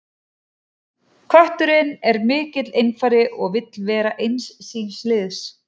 Kötturinn er mikill einfari og vill vera eins síns liðs.